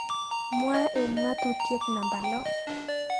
mwaat eng ngatutitiet namba lo